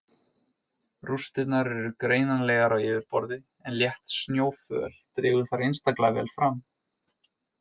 Rústirnar eru greinanlegar á yfirborði en létt snjóföl dregur þær einstaklega vel fram.